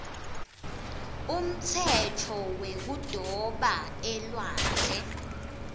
umtsetfo wekudoba elwandle